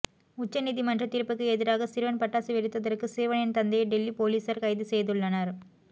உச்ச நீதிமன்ற தீர்ப்புக்கு எதிராக சிறுவன் பட்டாசு வெடித்ததற்கு சிறுவனின் தந்தையை டெல்லி போலீசார் கைது செய்துள்ளனர்